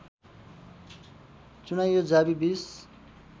चुनाइयो जावी २०